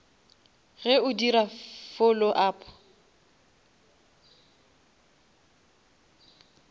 ge o dira follow up